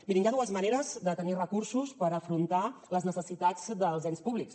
mirin hi ha dues maneres de tenir recursos per afrontar les necessitats dels ens públics